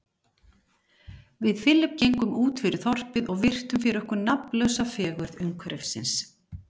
Við Philip gengum útfyrir þorpið og virtum fyrir okkur nafnlausa fegurð umhverfisins.